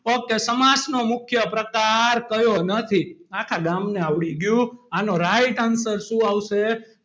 ok સમાસનો મુખ્ય પ્રકાર કયો નથી. આખા ગામને આવડી ગયું આનો right answer શું આવશે?